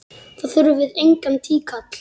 Þá þurfum við engan tíkall!